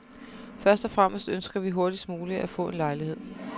Først og fremmest ønsker vi hurtigst muligt at få en lejlighed.